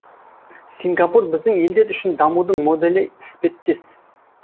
сингапур біздің елдер үшін дамудың моделі іспеттес